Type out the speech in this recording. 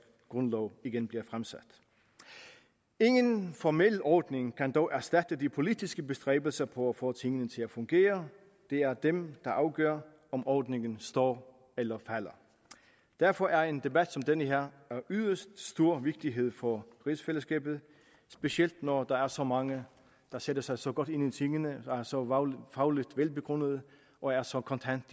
grundlov igen bliver fremsat ingen formel ordning kan dog erstatte de politiske bestræbelser på at få tingene til at fungere det er dem der afgør om ordningen står eller falder derfor er en debat som den her af yderst stor vigtighed for rigsfællesskabet specielt når der er så mange der sætter sig så godt ind i tingene er så fagligt velbegrundede og er så kontante